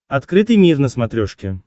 открытый мир на смотрешке